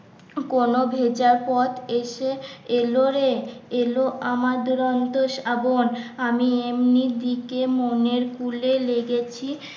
কোনো ভেজা পথ এসে এলো রে এলো আমার দুরন্ত শাবন আমি এমনি দিকে মনের কূলে লেগেছি